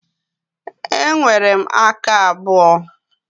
E nwere m aka abụọ.